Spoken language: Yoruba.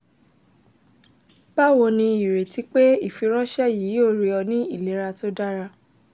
bawo ni ireti pe ifiranṣẹ yii yoo rii ọ ni ilera to dara